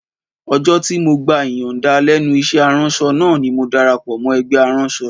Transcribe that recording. Ọjọ́ tí mo gba ìyànda lẹ́nu iṣẹ́ aránṣọ náà ni mo darapọ̀ mọ́ ẹgbẹ́ aránṣọ